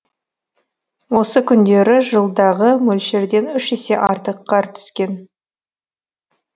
осы күндері жылдағы мөлшерден үш есе артық қар түскен